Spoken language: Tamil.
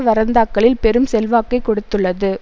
வரந்தாக்களில் பெரும் செல்வாக்கைக் கொடுத்துள்ளது